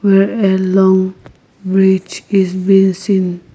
Where a long bridge has been seen --